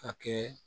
Ka kɛ